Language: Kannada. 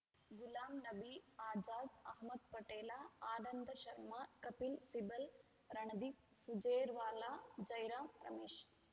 ಗುಲಾಂನಬಿ ಆಜಾದ್‌ ಅಹ್ಮದ್‌ ಪಟೇಲ ಆನಂದ ಶರ್ಮಾ ಕಪಿಲ್‌ ಸಿಬಲ್‌ ರಣದೀಪ್‌ ಸುರ್ಜೇವಾಲಾ ಜೈರಾಂ ರಮೇಶ್‌